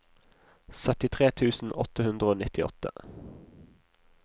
syttitre tusen åtte hundre og nittiåtte